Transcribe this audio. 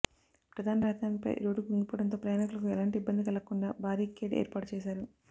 ప్రధాన రహదారిపై రోడ్డు కుంగిపోవడంతో ప్రయాణికులకు ఎలాంటి ఇబ్బంది కలగకుండా బారి కేడ్ ఏర్పాటు చేశారు